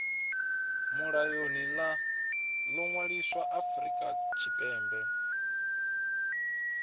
mulayoni ḽo ṅwaliswaho afrika tshipembe